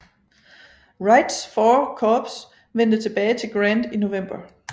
Wrights VI korps vendte tilbage til Grant i november